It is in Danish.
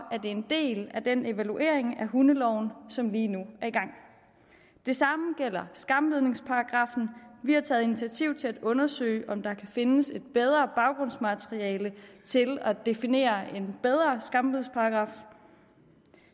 det en del af den evaluering af hundeloven som lige nu er i gang det samme gælder skambidningsparagraffen vi har taget initiativ til at undersøge om der kan findes et bedre baggrundsmateriale til at definere en bedre skambidsparagraf